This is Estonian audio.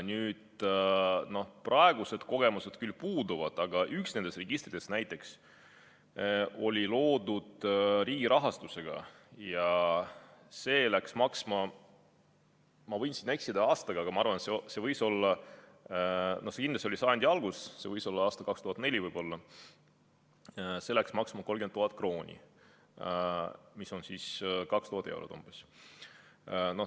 Nüüd, praegused kogemused küll puuduvad, aga üks nendest registritest oli loodud riigi rahastusega ja see läks maksma – ma võin eksida aastaga, aga ma arvan, et see kindlasti oli sajandi alguses, see võis olla aastal 2004 – 30 000 krooni, mis on umbes 2000 eurot.